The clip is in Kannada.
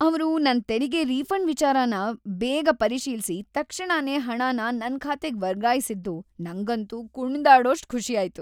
ಅವ್ರು ನನ್ ತೆರಿಗೆ ರೀಫಂಡ್‌ ವಿಚಾರನ ಬೇಗ ಪರಿಶೀಲ್ಸಿ ತಕ್ಷಣನೇ ಹಣನ ನನ್‌ ಖಾತೆಗ್‌ ವರ್ಗಾಯ್ಸಿದ್ದು ನಂಗಂತೂ ಕುಣ್ದಾಡೋಷ್ಟ್‌ ಖುಷಿಯಾಯ್ತು.